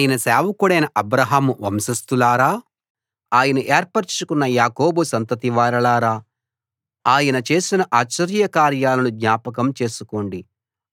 ఆయన సేవకుడైన అబ్రాహాము వంశస్థులారా ఆయన ఏర్పరచుకున్న యాకోబు సంతతివారలారా ఆయన చేసిన ఆశ్చర్య కార్యాలను జ్ఞాపకం చేసుకోండి